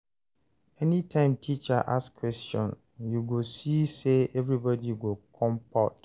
Anytime teacher ask question, you go see say everybody go compot.